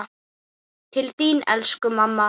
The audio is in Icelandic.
svarar Jón.